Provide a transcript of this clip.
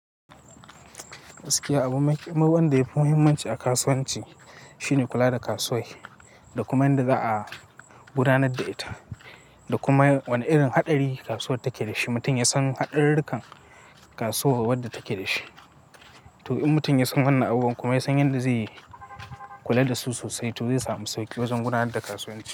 Gaskiya abu wanda yafi muhimmanci a kasuwanci shine kula da kasuwar da kuma inda za a gudanar da ita da kuma wane irin haɗari kasuwar take dashi. Mutum ya san haɗarurukan kasuwar wadda take da shi to in mutum ya san wannan abubuwan kuma ya san yadda zai kula da su sosai to zai samu sauki wajen gudanar da kasuwancin.